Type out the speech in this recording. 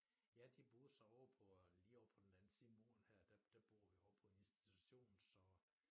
Ja de boede så ovre på øh lige over på den anden side af muren her der der bor vi ovre på en institution så